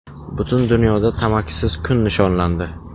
Butun dunyoda tamakisiz kun nishonlandi.